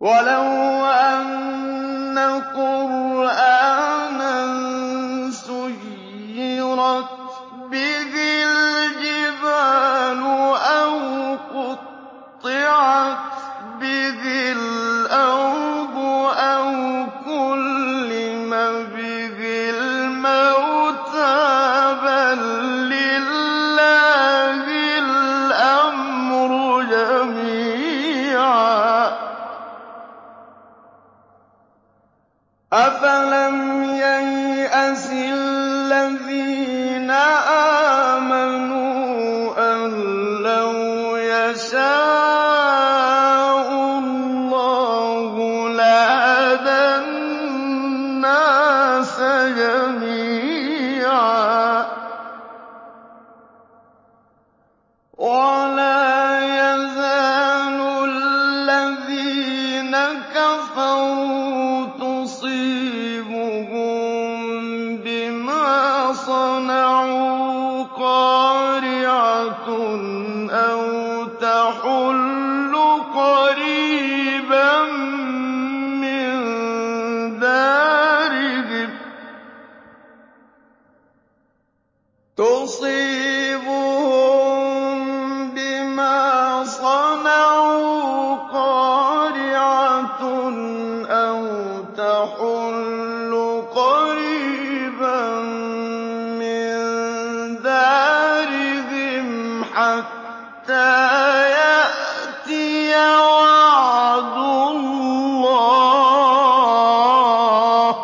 وَلَوْ أَنَّ قُرْآنًا سُيِّرَتْ بِهِ الْجِبَالُ أَوْ قُطِّعَتْ بِهِ الْأَرْضُ أَوْ كُلِّمَ بِهِ الْمَوْتَىٰ ۗ بَل لِّلَّهِ الْأَمْرُ جَمِيعًا ۗ أَفَلَمْ يَيْأَسِ الَّذِينَ آمَنُوا أَن لَّوْ يَشَاءُ اللَّهُ لَهَدَى النَّاسَ جَمِيعًا ۗ وَلَا يَزَالُ الَّذِينَ كَفَرُوا تُصِيبُهُم بِمَا صَنَعُوا قَارِعَةٌ أَوْ تَحُلُّ قَرِيبًا مِّن دَارِهِمْ حَتَّىٰ يَأْتِيَ وَعْدُ اللَّهِ ۚ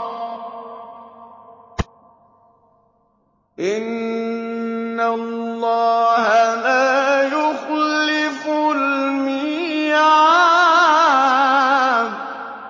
إِنَّ اللَّهَ لَا يُخْلِفُ الْمِيعَادَ